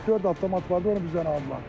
Dörd avtomat vardı, onu da bizdən aldılar.